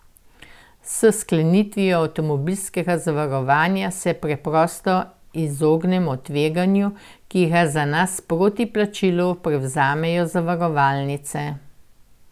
S sklenitvijo avtomobilskega zavarovanje se preprosto izognemo tveganju, ki ga za nas proti plačilu prevzemajo zavarovalnice.